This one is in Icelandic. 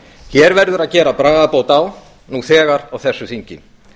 hér verður að gera bragarbót á nú þegar á þessu þingi